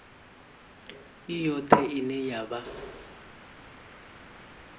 i yoṱhe ine ya vha